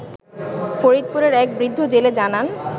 ফরিদপুরের এক বৃদ্ধ জেলে জানান